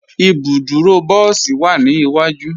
Ibùdúrò bọ̀sí wa ni iwaju.